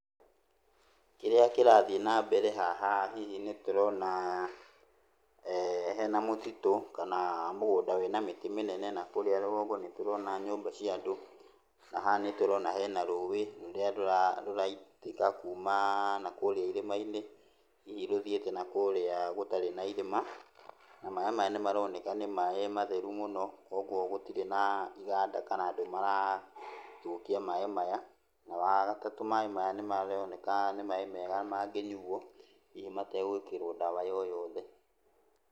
Kĩrĩa kĩrathiĩ nambere haha hihi nĩtũrona hena mũtitũ kana mũgũnda wĩna mĩtĩ mĩnene na kũrĩa rũgongo nĩtũrona nyũmba cia andũ, na haha nĩtũrona hena rũũĩ rũrĩa rũraitĩka kuma na kũrĩa irima-inĩ, hihi rũthiĩte nakũrĩa gũtarĩ na irĩma. Na maĩ maya nĩmaroneka nĩ maĩ matheru mũno, ũguo gũtirĩ na iganda kana andũ marathũkia maĩ maya. Na wagatatũ maĩ maya nĩmaroneka nĩ maĩ mega mangĩnyuo hihi mategwĩkĩrwo ndawa yo yothe.